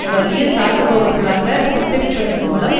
வலியத் தாக்குபவர்களாக சித்தரிப்பதன் மூலம்